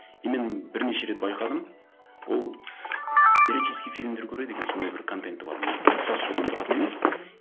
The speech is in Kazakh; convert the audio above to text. и мен бірнеше рет байқадым ол эротический фильмдер көреді екен сондай бір контенті бар нелер мхм тұтас содан тұратын емес мхм